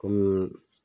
Kɔmi